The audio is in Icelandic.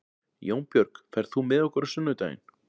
Jónbjörg, ferð þú með okkur á sunnudaginn?